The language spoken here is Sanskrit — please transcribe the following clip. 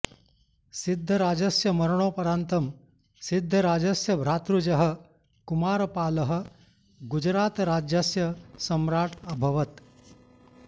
सिद्धराजस्य मरणोपरान्तं सिद्धराजस्य भातृजः कुमारपालः गुजरातराज्यस्य सम्राट् अभवत्